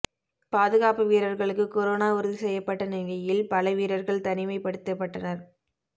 பாதுகாப்பு வீரர்களுக்கு கொரோனா உறுதி செய்யப்பட்டநிலையில் பல வீரர்கள் தனிமைப்படுத்தப்பட்டனர்